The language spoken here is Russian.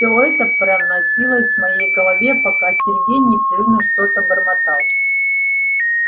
все это проносилось в моей голове пока сергей непрерывно что-то бормотал